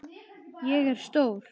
Ég er stór.